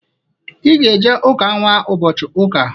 I ga-eje ụka nnwa ụbọchị Ụka!